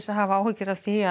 að hafa áhyggjur af því